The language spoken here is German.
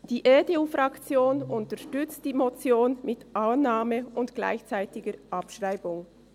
Die EDU-Fraktion unterstützt die Motion mit Annahme und gleichzeitiger Abschreibung.